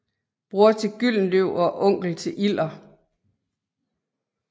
Bror til Gyldenløv og onkel til Ilder